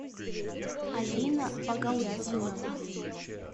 алина багаутдинова